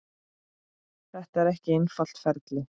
Þetta er ekki einfalt ferli.